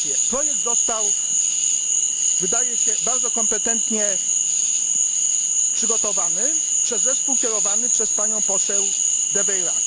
Projekt został, wydaje się, bardzo kompetentnie przygotowany przez zespół kierowany przez panią poseł De Veyrac.